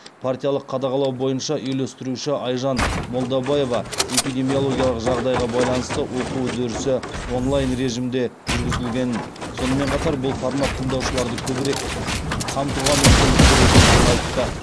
партиялық қадағалау бойынша үйлестіруші айжан молдабаева эпидемиологиялық жағдайға байланысты оқу үдерісі онлайн режимде жүргізілгенін сонымен қатар бұл формат тыңдаушыларды көбірек қамтуға мүмкіндік беретіндігін айтты